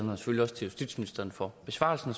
justitsministeren for besvarelsen